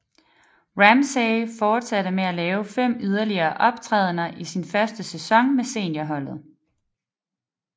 Ramsay fortsatte med at lave fem yderligere optrædener i sin første sæson med seniorholdet